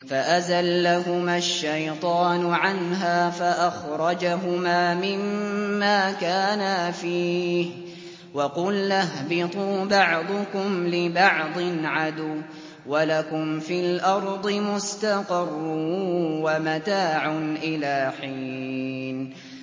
فَأَزَلَّهُمَا الشَّيْطَانُ عَنْهَا فَأَخْرَجَهُمَا مِمَّا كَانَا فِيهِ ۖ وَقُلْنَا اهْبِطُوا بَعْضُكُمْ لِبَعْضٍ عَدُوٌّ ۖ وَلَكُمْ فِي الْأَرْضِ مُسْتَقَرٌّ وَمَتَاعٌ إِلَىٰ حِينٍ